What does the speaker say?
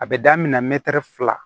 A bɛ daminɛ fila